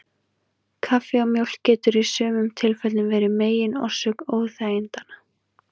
Kaffi og mjólk getur í sumum tilfellum verið megin orsök óþægindanna.